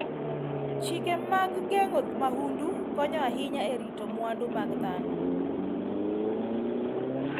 Chike mag geng'o mahundu konyo ahinya e rito mwandu mag dhano.